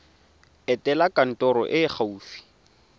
etela kantoro e e gaufi